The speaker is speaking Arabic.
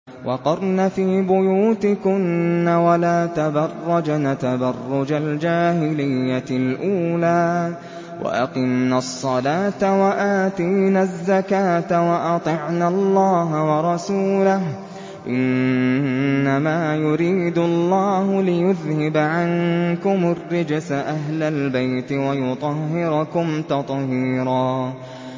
وَقَرْنَ فِي بُيُوتِكُنَّ وَلَا تَبَرَّجْنَ تَبَرُّجَ الْجَاهِلِيَّةِ الْأُولَىٰ ۖ وَأَقِمْنَ الصَّلَاةَ وَآتِينَ الزَّكَاةَ وَأَطِعْنَ اللَّهَ وَرَسُولَهُ ۚ إِنَّمَا يُرِيدُ اللَّهُ لِيُذْهِبَ عَنكُمُ الرِّجْسَ أَهْلَ الْبَيْتِ وَيُطَهِّرَكُمْ تَطْهِيرًا